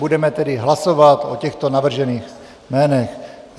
Budeme tedy hlasovat o těchto navržených jménech.